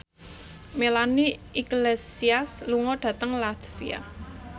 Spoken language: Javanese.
Melanie Iglesias lunga dhateng latvia